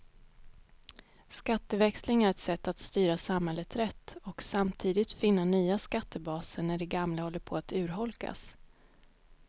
Skatteväxling är ett sätt att styra samhället rätt och samtidigt finna nya skattebaser när de gamla håller på att urholkas.